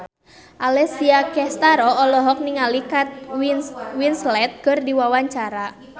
Alessia Cestaro olohok ningali Kate Winslet keur diwawancara